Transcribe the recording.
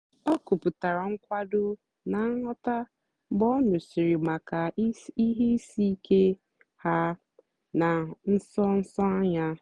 o kwùputàra nkwàdò na nghọ́tá mgbe ọ nụ́sị̀rị́ maka ihe ìsìkè ha na nsó nsó anya.